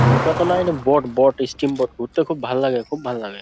নৌকাতে নয় এ বোট বোট স্টিম বোট ঘুরতে খুব ভাল লাগে খুব ভাল লাগে ।